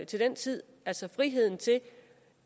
til den tid altså friheden til